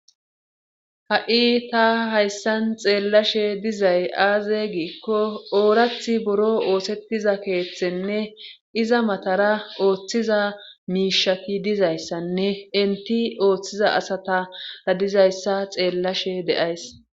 Ha7i ta hayssan xeellashe dizay aaze giikko oorath boro oosettiza keeththenne iza matara ooththiza miishaki dizayssanne inti ooththiza asatara dizayssa xeellashe deays.